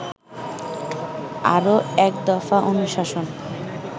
আরো একদফা অনুশাসন